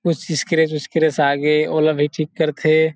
कुछ स्क्रैच -उस्क्रैच आगे ओला भी ठीक करथे ।